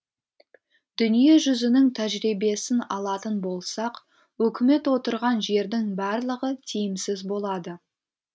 дүние жүзінің тәжірибесін алатын болсақ үкімет отырған жердің барлығы тиімсіз болады